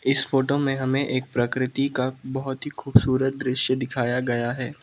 इस फोटो मे हमे एक प्रकृति का बहोत ही खूबसूरत दृश्य दिखाया गया है।